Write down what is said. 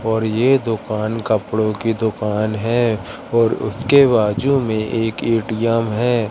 और ये दुकान कपड़ों की दुकान है और उसके बाजू में एक ए_टी_एम है।